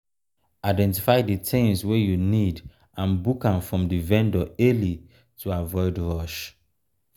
identify di things wey you need and book am from di vendor early to avoid rush